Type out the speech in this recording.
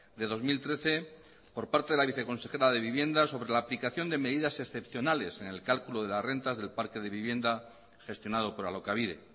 de dos mil trece por parte de la viceconsejera de vivienda sobre la aplicación de medidas excepcionales en el cálculo de las rentas del parque de vivienda gestionado por alokabide